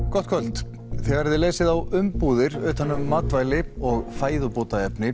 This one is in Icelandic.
gott kvöld þegar þið lesið á umbúðir utan um matvæli og fæðubótaefni